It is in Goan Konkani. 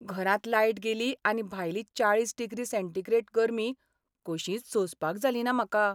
घरांत लायट गेली आनी भायली चाळीस डिग्री सेंटीग्रेड गर्मी कशींच सोंसपाक जालीना म्हाका.